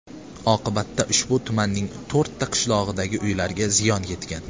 Oqibatda ushbu tumanning to‘rtta qishlog‘idagi uylarga ziyon yetgan.